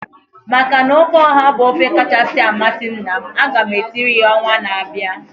Maka na ofe ọha bụ ofe kachasị amasị nna m, aga m esirie ya ọnwa na-abịa